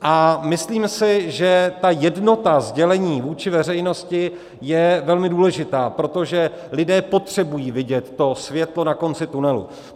A myslím si, že ta jednota sdělení vůči veřejnosti je velmi důležitá, protože lidé potřebují vidět to světlo na konci tunelu.